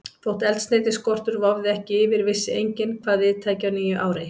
Þótt eldsneytisskortur vofði ekki yfir, vissi enginn, hvað við tæki á nýju ári.